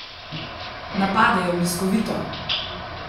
Napadejo bliskovito!